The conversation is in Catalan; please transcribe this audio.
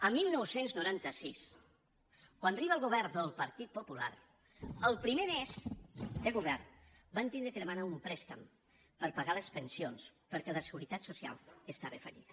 el dinou noranta sis quan arriba el govern del partit popular el primer mes de govern van haver de demanar un préstec per pagar les pensions perquè la seguretat social estava en fallida